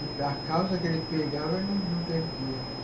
A causa que ele pegava, ele não não perdia.